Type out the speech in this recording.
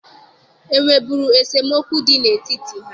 E nweburu esemokwu dị n'etiti ha?